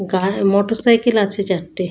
গাড় মোটরসাইকেল আছে চারটে।